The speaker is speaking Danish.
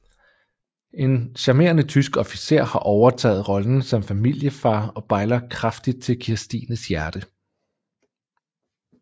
En charmerende tysk officer har overtaget rollen som familiefar og bejler kraftigt til Kirstines hjerte